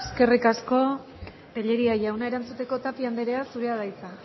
eskerrik asko tellería jauna erantzuteko tapia anderea zurea da hitza